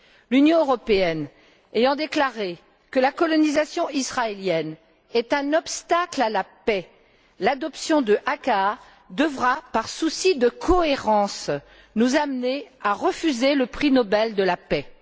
L'Union européenne ayant déclaré que la colonisation israélienne était un obstacle à la paix, l'adoption de l'ACAA devra, par souci de cohérence, nous amener à refuser le prix Nobel de la paix.